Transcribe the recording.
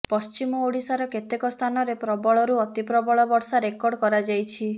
ପଶ୍ଚିମ ଓଡ଼ିଶାର କେତେକ ସ୍ଥାନରେ ପ୍ରବଳରୁ ଅତିପ୍ରବଳ ବର୍ଷା ରେକର୍ଡ କରାଯାଇଛି